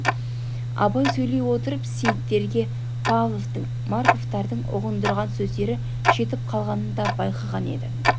абай сөйлей отырып сейіттерге павловтың марковтардың ұғындырған сөздері жетіп қалғанын да байқаған еді